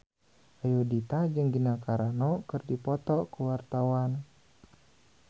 Ayudhita jeung Gina Carano keur dipoto ku wartawan